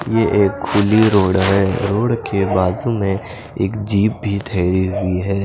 ये एक खुली रोड हे रोड के बाजु में एक जीप भी ठहरी हुई हे।